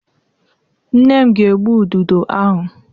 Nne m ga-egbu Ududo ahụ.